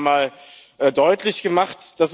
Das haben Sie auch nochmal deutlich gemacht.